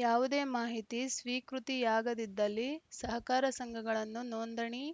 ಯವುದೇ ಮಾಹಿತಿ ಸ್ವೀಕೃತಿಯಾಗದಿದ್ದಲ್ಲಿ ಸಹಕಾರ ಸಂಘಗಳನ್ನು ನೋಂದಣಿ